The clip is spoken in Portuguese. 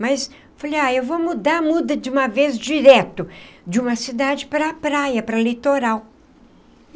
Mas falei, ah, eu vou mudar, muda de uma vez direto, de uma cidade para a praia, para o litoral.